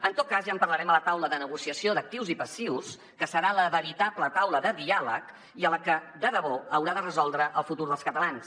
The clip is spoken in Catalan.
en tot cas ja en parlarem a la taula de negociació d’actius i passius que serà la veritable taula de diàleg i la que de debò haurà de resoldre el futur dels catalans